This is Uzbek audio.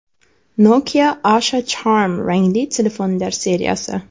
Nokia Asha Charme rangli telefonlar seriyasi.